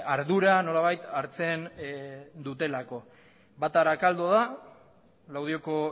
ardura nolabait hartzen dutelako bat arakaldo da laudioko